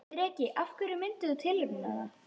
Breki: Af hverju myndir þú tilnefna hana?